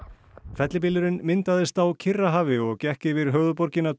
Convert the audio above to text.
fellibylurinn myndaðist á Kyrrahafi og gekk yfir höfuðborgina